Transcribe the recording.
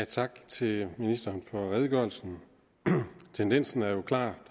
tak til ministeren for redegørelsen tendensen er klar